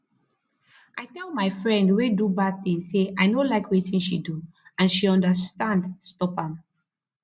i tell my friend wey do bad thing say i no like wetin she do and she understand stop am